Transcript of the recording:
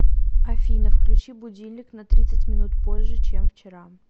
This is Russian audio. афина включи будильник на тридцать минут позже чем вчера